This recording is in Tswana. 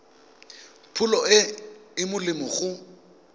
pholo e e molemo go